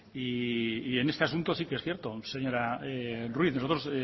y en este asunto sí que es cierto señora ruiz nosotros